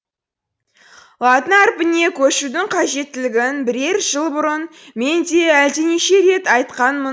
латын әрпіне көшудің қажеттілігін бірер жыл бұрын мен де әлденеше рет айтқанмын